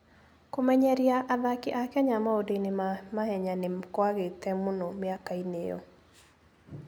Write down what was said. Kũmenyeria athaki a Kenya maũndũ-inĩ ma mahenya nĩ kwagĩte mũno mĩaka-inĩ ĩyo.